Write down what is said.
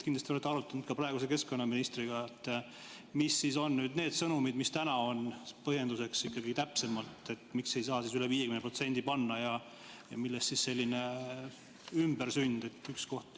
Kindlasti olete arutanud ka praeguse keskkonnaministriga, mis on need sõnumid, mis täna on põhjenduseks, miks ei saa üle 50% panna ja millest selline ümbersünd.